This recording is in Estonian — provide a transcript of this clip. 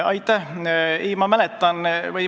Aitäh!